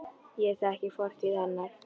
Ég þekki fortíð hennar.